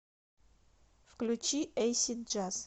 включи эйсид джаз